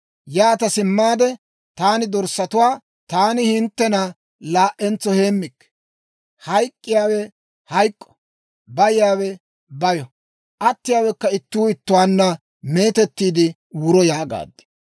Yaata simmaade taani dorssatuwaa, «Taani hinttena laa"entso heemmikke; hayk'k'iyaawe hayk'k'o; bayiyaawe bayo; attiyaawekka ittuu ittuwaanna meetettiide wuro» yaagaad.